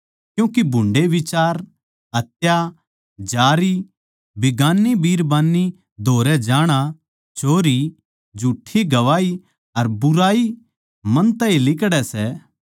क्यूँके भुन्डे़ बिचार हत्या बिगान्नी बिरबान्नी धोरै जाणा जारी चोरी झूठ्ठी गवाही अर बुराई मन तै ए लिकड़ै सै